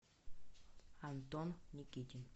антон никитин